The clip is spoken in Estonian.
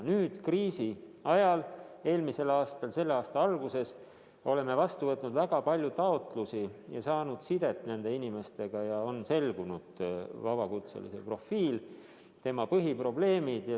Nüüd kriisi ajal, eelmisel aastal ja selle aasta alguses oleme võtnud vastu väga palju taotlusi ja saanud ühendust nende inimestega ning on selgunud vabakutselise profiil, tema põhiprobleemid.